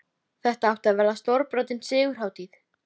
Dúddi leit á okkur eitt af öðru, undirfurðulegur á svip.